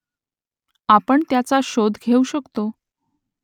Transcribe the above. आपण त्याचा शोध घेऊ शकतो